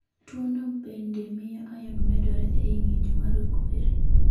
Tuwono bende miyo iron medore e i ng'injo marokwere.